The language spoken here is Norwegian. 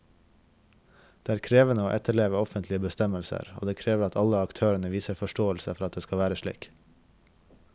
Det er krevende å etterleve offentlige bestemmelser, og det krever at alle aktørene viser forståelse for at det skal være slik.